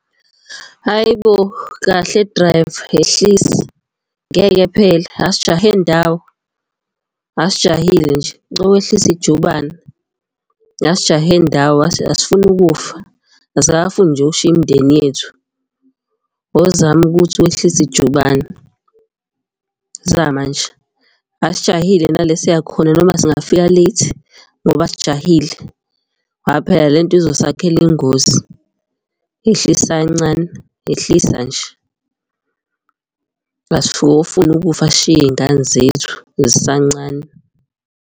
Hhayi bo! Kahle driver yehlisa, ngeke phela asijahe ndawo. Asijahile nje, cela wehlise ijubane, asijahe ndawo asifuni ukufa, asikakafuni nje ukushiya imindeni yethu. Awuzame ukuthi wehlise ijubane, zama nje asijahile nala esiya khona noma singafika late ngoba asijahile. Ngoba phela le nto izosakhela ingozi, yehlisa kancane, yehlisa nje. Asikakofuni ukufa sishiye iy'ngane zethu zisancane.